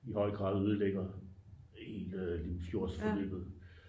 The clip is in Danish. i høj grad ødelægger hele limfjordsløbet